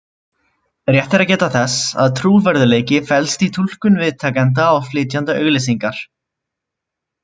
Rétt er að geta þess að trúverðugleiki felst í túlkun viðtakanda á flytjanda auglýsingar.